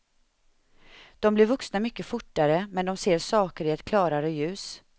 De blir vuxna mycket fortare, men de ser saker i ett klarare ljus.